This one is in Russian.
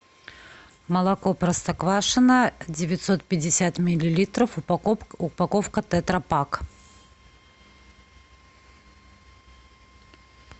молоко простоквашино девятьсот пятьдесят миллилитров упаковка тетра пак